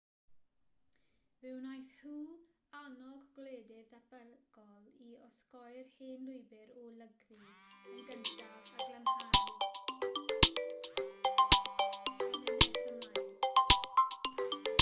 fe wnaeth hu annog gwledydd datblygol i osgoi'r hen lwybr o lygru yn gyntaf a glanhau yn nes ymlaen